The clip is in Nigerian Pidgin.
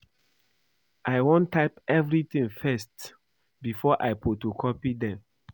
I wan type everything first before I photocopy dem